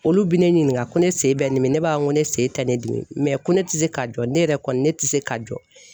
Olu bi ne ɲininka ko ne sen bɛ n dimi ne b'a fɔ ko ne sen tɛ ne dimi ko ne ti se ka jɔ ne yɛrɛ kɔni ne tɛ se ka jɔ.